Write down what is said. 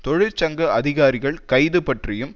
தொழிற்சங்க அதிகாரிகள் கைதுபற்றியும்